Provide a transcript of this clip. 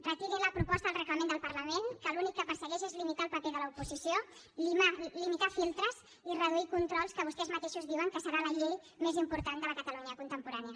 retirin la proposta del reglament del parlament que l’únic que persegueix és limitar el paper de l’oposició limitar filtres i reduir controls a la que vostès mateixos diuen que serà la llei més important de la catalunya contemporània